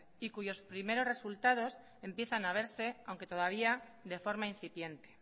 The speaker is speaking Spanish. y cuyos primeros resultados empiezan a verse aunque todavía de forma incipiente